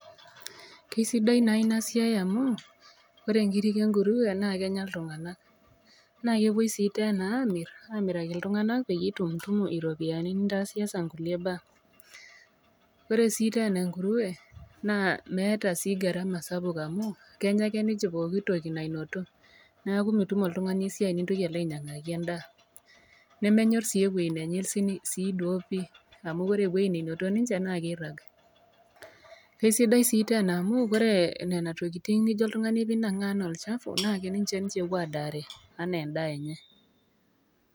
Kesidai naa inasiiai amu ore nkirik enkurue naa kenya ltunganak ,nakepuo si tena amir amiraki ltunganak peitumtumu ropiyiani nintasiasa kulie baa ,oresi tena enkurue naa meeta sii garama sapuk amu kenya ake ninche pooki toki nainoto ,neaku mitum oltungani esiai ningil alo ainyangaki endaa, nemenyor sii ewueji nenyorsi amu ore ewueji nainoto ninche na keirag .Kesidai si tena amu ore nona tokitin nijo oltungani anangaa anaa olchafu na ninche ninche epuo adaare anaa endaa enye.